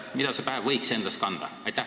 Mida see päev võiks endas kanda?